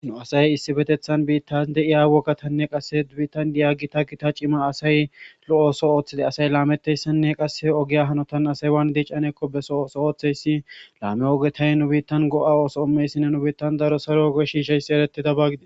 Nu asay issi betethan biitta de iya wogatanne qasse ubiittan diyagi ta gita cima asay lo7ooso ooththide asay laametteyssenne qasse ogeya hanotan asaywan diiccanekko beso ooso ooththeyssi laame ogetay nu biittan go7a ooso ommeyssinne nu biittan daro saro oge shiishayssi erettida bagide